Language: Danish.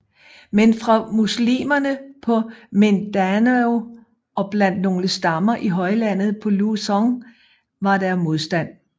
Men fra muslimerne på Mindanao og blandt nogle stammer i højlandet på Luzon var der modstand